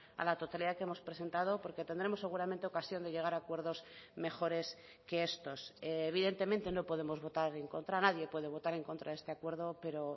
a la totalidad que hemos presentado porque tendremos seguramente ocasión de llegar a acuerdos mejores que estos evidentemente no podemos votar en contra nadie puede votar en contra de este acuerdo pero